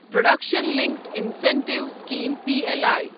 production linked incentive scheme P L I